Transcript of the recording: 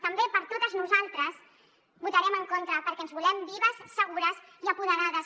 també per totes nosaltres hi votarem en contra perquè ens volem vives segures i apoderades